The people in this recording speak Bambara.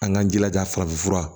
An k'an jilaja farafin fura